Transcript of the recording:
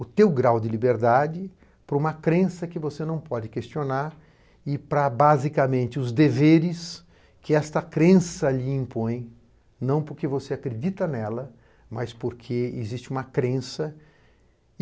o teu grau de liberdade para uma crença que você não pode questionar e para, basicamente, os deveres que esta crença lhe impõe, não porque você acredita nela, mas porque existe uma crença.